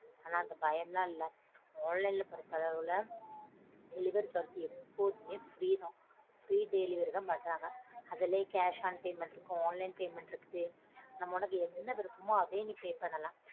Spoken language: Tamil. ஆனா அந்த பயம்லாம் இல்ல online ல பொருத்தளவுல delivery charge எப்போதுமே free தான். Free delivery தான் பண்றாங்க. அதுலே cash on payment இருக்கும் online payment இருக்குது நம்ம உனக்கு என்ன விருப்பமோ அதே pay பண்ணலாம்.